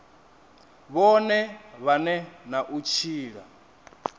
vhone vhane na u tshila